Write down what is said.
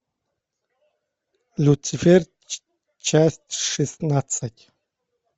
люцифер часть шестнадцать